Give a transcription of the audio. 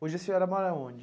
Hoje a senhora mora onde?